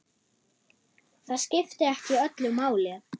Það skipti ekki öllu máli.